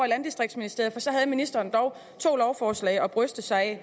i landdistriktsministeriet for så havde ministeren dog to lovforslag at bryste sig af